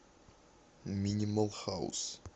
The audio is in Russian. минимал хаус